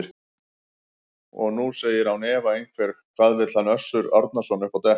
Og nú segir án efa einhver: Hvað vill hann Össur Árnason upp á dekk?